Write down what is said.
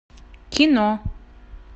кино